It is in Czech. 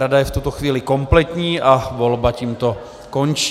Rada je v tuto chvíli kompletní a volba tímto končí.